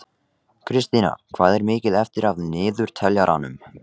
Kristína, hvað er mikið eftir af niðurteljaranum?